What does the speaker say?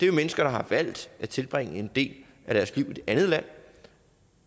jo mennesker der har valgt at tilbringe en del af deres liv i et andet land